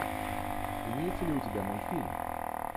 имеется ли у тебя мультфильм